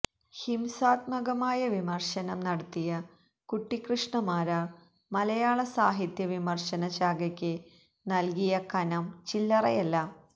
ഹിംസാത്മകമായ വിമർശനം നടത്തിയ കുട്ടിക്കൃഷ്ണമാരാര് മലയാളസാഹിത്യ വിമർശന ശാഖയ്ക്ക് നൽകിയ കനം ചില്ലറയല്ല